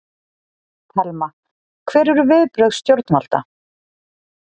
Telma: Hver eru viðbrögð stjórnvalda?